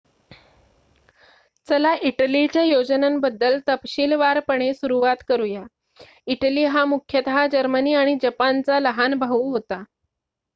"चला इटलीच्या योजनांबद्दल तपशीलवारपणे सुरवात करूया. इटली हा मुख्यतः जर्मनी आणि जपानचा "लहान भाऊ" होता.